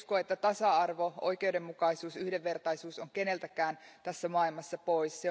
En usko, että tasa arvo, oikeudenmukaisuus ja yhdenvertaisuus ovat keneltäkään tässä maailmassa pois.